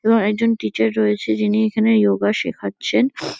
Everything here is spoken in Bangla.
এবং একজন টিচার রয়েছে যিনি এখানে ইয়োগা শেখাচ্ছেন।